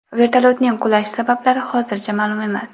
Vertolyotning qulash sabablari hozircha ma’lum emas.